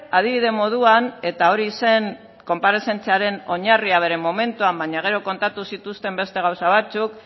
adibide moduan eta hori zen konparezentziaren oinarria bere momentua baina gero kontatu zituzten beste gauza batzuk